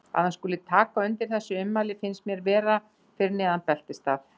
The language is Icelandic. Að hann skuli taka undir þessi ummæli finnst mér vera fyrir neðan beltisstað.